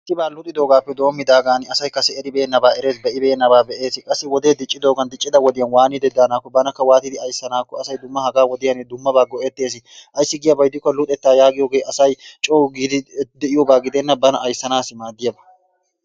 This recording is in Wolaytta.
Qiibaa luxxidoogaappe doomidaagan asay kasse eribeenabaa erees, be'ibeennabaa be'ees. Qassi wodee diccidoogaappe dendidaagan diccida wodiyan waanidi daanakko banakka waanidi aysanaakko asay dumma hagaa wodiyaan dummabaa go'ettees. Ayssi giyabaa gidikko luxxettaa yaagiyoogee asay coo giidi de'iyoogaa gidenna bana ayssanaassi maaddiyaabaa.